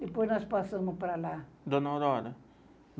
Depois nós passamos para lá. Dona Aurora